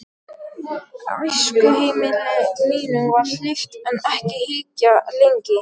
Æskuheimili mínu var hlíft en ekki ýkja lengi.